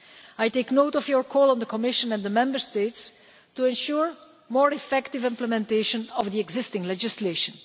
I take note of your call to the Commission and the Member States to ensure more effective implementation of the existing legislation.